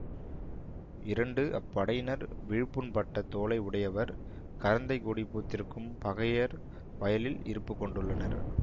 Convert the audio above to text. இரண்டு அப் படையினர் விழுப்புண் பட்ட தோளை உடையவர் கரந்தைக்கொடி பூத்திருக்கும் பகையர் வயலில் இருப்புக் கொண்டுள்ளனர்